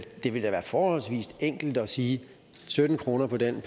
det ville da være forholdsvis enkelt at sige sytten kroner for den